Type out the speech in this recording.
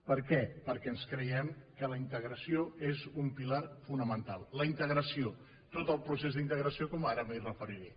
per què perquè ens creiem que la integració és un pilar fonamental la integració tot el procés d’integració com ara m’hi referiré